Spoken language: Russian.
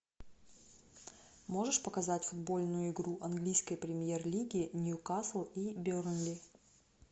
можешь показать футбольную игру английской премьер лиги ньюкасл и бернли